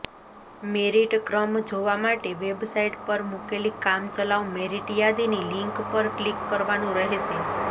મેરિટક્રમ જોવા માટે વેબસાઈટ પર મુકેલી કામચલાઉ મેરિટ યાદીની લીંક પર કલીક કરવાનુ રહેશે